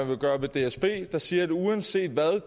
vil gøre ved dsb der siger at uanset hvad